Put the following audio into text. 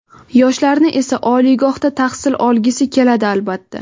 Yoshlarni esa, oliygohda tahsil olgisi keladi, albatta.